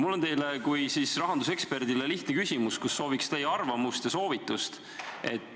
Mul on teile kui rahanduseksperdile lihtne küsimus, sooviks kuulda teie arvamust ja soovitust.